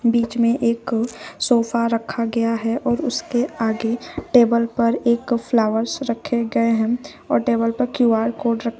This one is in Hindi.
बीच में एक सोफा रखा गया है और उसके आगे टेबल पर एक फ्लावर्स रखे गए हैं और टेबल पर क्यू_आर कोड र --